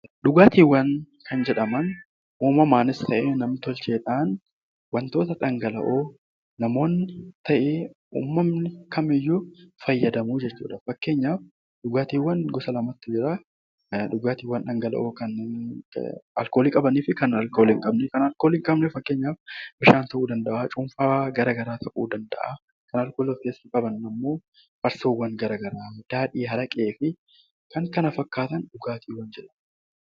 Dhugaatiiwwan kan jedhaman uumamaanis ta'e nam-tolchee dhaan wantoora dhangalla'oo namoonni ta'e uummanni fayyadamu jechuu dha. Fakkeenyaaf dhugaatiiwwan gosa lamatu jira. Dhugaatii alkoolii qabanii fi alkoolii hin qabne. Kan alkoolii hin qabne fakkeenyaaf Bishaan ta'uu danda'aa, cuunfaa gara garaa ta'uu danda'a. Kan alkoolii of keessaa qaban ammoo Farsoowwan gara garaa, Daadhii, Araqee fi kan kana fakkaatan dhugaatiiwwan jedhamu.